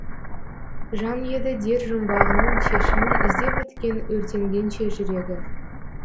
жан еді дер жұмбағының шешімін іздеп өткен өртенгенше жүрегі